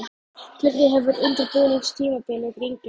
Hvernig hefur undirbúningstímabilið gengið?